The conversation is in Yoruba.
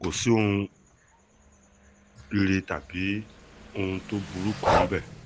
kò sí nǹkan ire tàbí ohun tó burú kan níbẹ̀